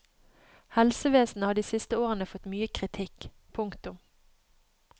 Helsevesenet har de siste årene fått mye kritikk. punktum